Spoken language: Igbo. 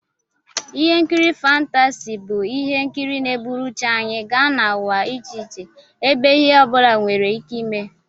Ihe nkiri fántási bụ ihe nkiri na-eburu uche anyị gaa n'ụwa echiche, ebe ihe obula were Ike ime